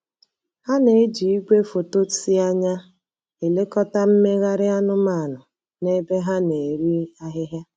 Ha na-eji igwefoto si anya elekọta mmegharị anụmanụ na ebe ha na-eri ahịhịa.